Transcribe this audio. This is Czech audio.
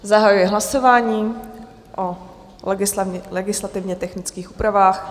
Zahajuji hlasování o legislativně technických úpravách.